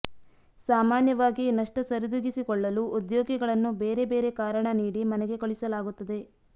ಸಾಮಾನ್ಯವಾಗಿ ನಷ್ಟ ಸರಿದೂಗಿಸಿಕೊಳ್ಳಲು ಉದ್ಯೋಗಿಗಳನ್ನು ಬೇರೆ ಬೇರೆ ಕಾರಣ ನೀಡಿ ಮನೆಗೆ ಕಳಿಸಲಾಗುತ್ತದೆ